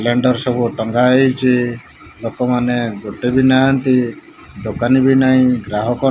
blender ସବୁ ଟଙ୍ଗାହେଇଛି ଲୋକମାନେ ଗୋଟେବି ନାହାନ୍ତି ଦୋକାନବି ନାହିଁ ଗ୍ରାହକ --